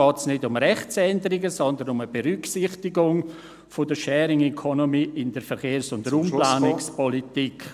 Hier geht es nicht um Rechtsänderungen, sondern um eine Berücksichtigung der Sharing Economy in der Verkehrs- und Raumplanungspolitik.